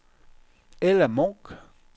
Ella Munch